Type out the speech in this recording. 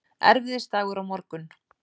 Erfiðisdagur á morgun.